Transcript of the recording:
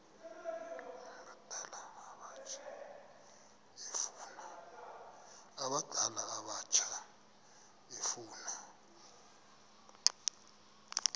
abadala abatsha efuna